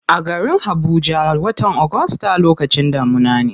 A garin habuja, watan august lokacin damuna ne.